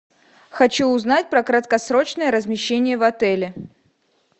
хочу узнать про краткосрочное размещение в отеле